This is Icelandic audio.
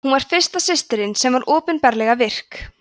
hún var fyrsta systirin sem var opinberlega virk